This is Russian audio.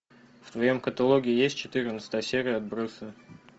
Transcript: в твоем каталоге есть четырнадцатая серия отбросы